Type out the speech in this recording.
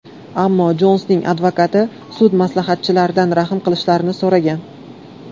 Ammo Jonsning advokati sud maslahatchilaridan rahm qilishlarini so‘ragan.